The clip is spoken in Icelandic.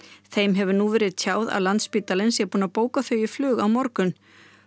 þeim hefur nú verið tjáð að Landspítalinn sé búin að bóka þau í flug á morgun